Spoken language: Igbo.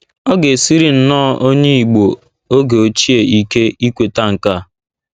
Ọ ga - esiri nnọọ onye Igbo oge ochie ike ikweta nke a.